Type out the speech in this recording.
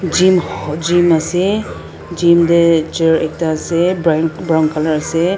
jim Jim ase jim teh chair ekta ase brai brown colour ase.